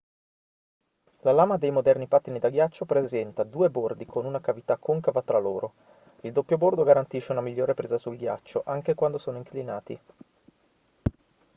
la lama dei moderni pattini da ghiaccio presenta due bordi con una cavità concava tra loro il doppio bordo garantisce una migliore presa sul ghiaccio anche quando sono inclinati